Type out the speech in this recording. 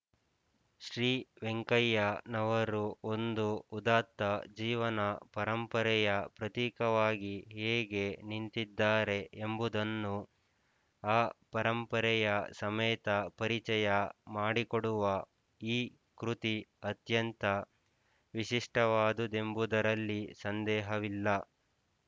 ಶ್ರೀ ವೆಂಕಯ್ಯ ನವರು ಒಂದು ಉದಾತ್ತ ಜೀವನ ಪರಂಪರೆಯ ಪ್ರತೀಕವಾಗಿ ಹೇಗೆ ನಿಂತಿದ್ದಾರೆ ಎಂಬುದನ್ನು ಆ ಪರಂಪರೆಯ ಸಮೇತ ಪರಿಚಯ ಮಾಡಿಕೊಡುವ ಈ ಕೃತಿ ಅತ್ಯಂತ ವಿಶಿಷ್ಟವಾದುದೆಂಬುದರಲ್ಲಿ ಸಂದೇಹವಿಲ್ಲ